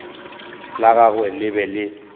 la gagwe le be le